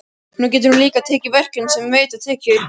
Nú getur hún líka tekið verkefni sem veita tekjur.